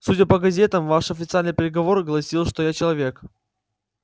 судя по газетам ваш официальный приговор гласил что я человек